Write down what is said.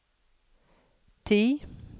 ti